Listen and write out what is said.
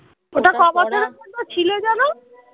ওটা ক বছর পর্যন্ত ছিল যেন